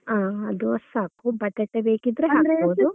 ಹಾ ಅದು ಅಷ್ಟು ಸಾಕು ಬಟಾಟೆ ಬೇಕಿದ್ರೆ ಹಾಕ್ಬೋದು.